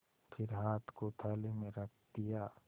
फिर हाथ को थाली में रख दिया